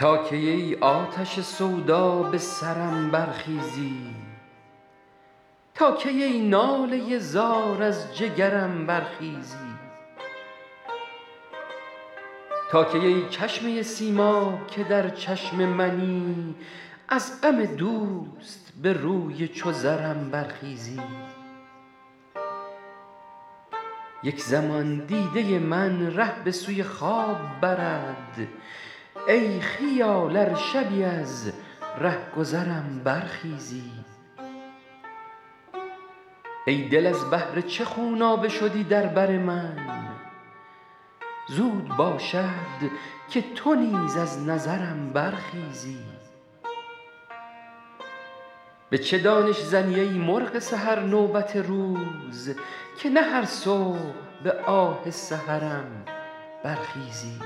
تا کی ای آتش سودا به سرم برخیزی تا کی ای ناله زار از جگرم برخیزی تا کی ای چشمه سیماب که در چشم منی از غم دوست به روی چو زرم برخیزی یک زمان دیده من ره به سوی خواب برد ای خیال ار شبی از رهگذرم برخیزی ای دل از بهر چه خونابه شدی در بر من زود باشد که تو نیز از نظرم برخیزی به چه دانش زنی ای مرغ سحر نوبت روز که نه هر صبح به آه سحرم برخیزی